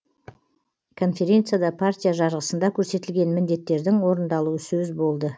конференцияда партия жарғысында көрсетілген міндеттердің орындалуы сөз болды